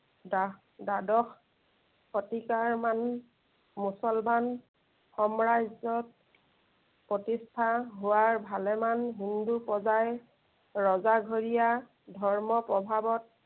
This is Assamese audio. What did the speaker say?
দা~দাদ্বশ শতিকাৰ মান মুছলমান সম্ৰাজ্য়ত প্ৰতিষ্ঠা হোৱাৰ ভালেমান হিন্দু প্ৰজাই ৰজাঘৰীয়া ধৰ্মৰ প্ৰভাৱত